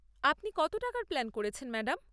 আপনি কত টাকার প্ল্যান করছেন, ম্যাডাম?